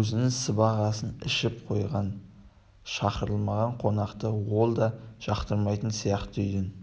өзінің сыбағасын ішіп қойған шақырылмаған қонақты ол да жақтырмайтын сияқты үйден